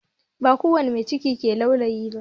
Ba kowani mai ciki ke laulayi ba